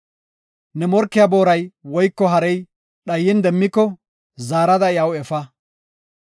“Ne morkiya booray woyko harey dhayin demmiko, zaarada iyaw efa.